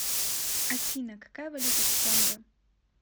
афина какая валюта в конго